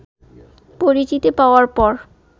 পরিচিতি পাওয়ার পর